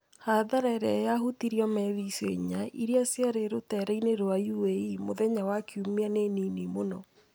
hathara ĩrĩa yahutirio meri icio inya iria ciarĩ rũteereinĩ rwa UAE mũthenya wa Kiumia nĩ nini mũno.